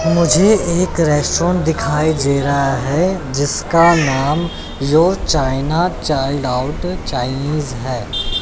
मुझे एक रेस्टोरेंट दिखाई दे रहा है। जिसका नाम yo China child out Chinese है।